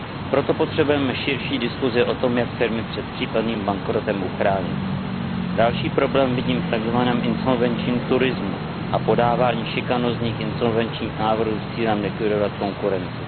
Proto potřebujeme širší diskusi o tom, jak firmy před případným bankrotem uchránit. Další problém vidím v tzv. insolvenčním turismu a podávání šikanujících insolvenčních návrhů s cílem likvidovat konkurenci.